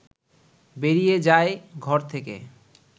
বেরিয়ে যায় ঘর থেকে